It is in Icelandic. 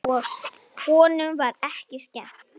Honum var ekki skemmt.